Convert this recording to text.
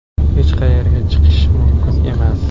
Hech qayerga chiqish mumkin emas.